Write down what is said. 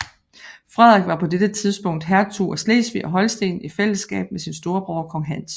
Frederik var på dette tidspunkt hertug af Slesvig og Holsten i fællesskab med sin storebror kong Hans